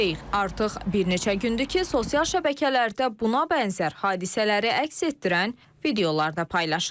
Artıq bir neçə gündür ki, sosial şəbəkələrdə buna bənzər hadisələri əks etdirən videolar da paylaşılır.